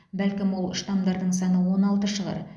бәлкім ол штамдардың саны он алты шығар